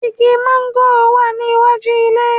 Igi mángòrò wà ní iwájú ilé